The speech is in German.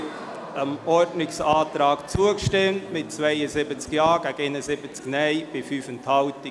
Sie haben diesem Ordnungsantrag zugestimmt mit 72 Ja- gegen 71 Nein-Stimmen bei 5 Enthaltungen.